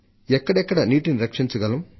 ఎక్కడెక్కడ నీటిని రక్షించగలం